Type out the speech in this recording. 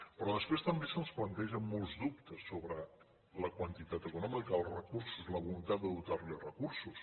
però després també se’ns plantegen molts dubtes sobre la quantitat econòmica els recursos la voluntat de dotarlo de recursos